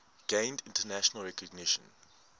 gained international recognition